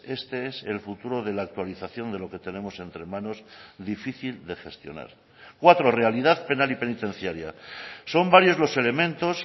este es el futuro de la actualización de lo que tenemos entre manos difícil de gestionar cuatro realidad penal y penitenciaria son varios los elementos